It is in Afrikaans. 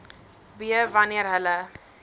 b wanneer hulle